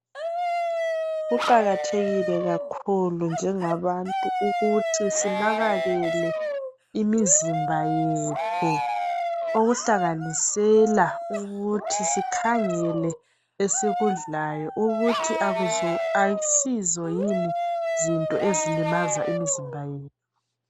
Kuqakathekile kakhulu njengabantu ukuthi sinekekele imizimba yethu. Okuhlanganisela ukuthi sikhangele esikudlayo ukuthi akusizo yini zinto ezilimaza imizimba yethu.